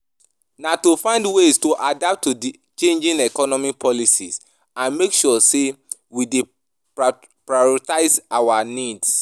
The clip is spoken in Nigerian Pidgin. Na to find ways to adapt to di changing economic policies, and make sure say we dey prioritize our needs.